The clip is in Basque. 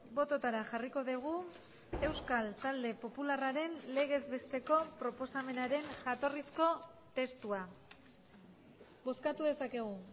bototara jarriko dugu euskal talde popularraren legez besteko proposamenaren jatorrizko testua bozkatu dezakegu